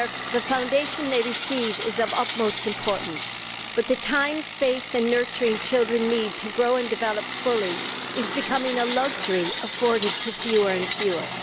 The foundation they receive is of utmost importance, but the time, space and nurturing children need to grow and develop fully is becoming a luxury afforded to fewer and fewer.